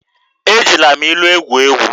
Ejila m ilu egwu egwu.